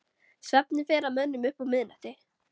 Svefninn fer að mönnum upp úr miðnætti.